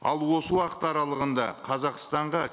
ал осы уақыт аралығында қазақстанға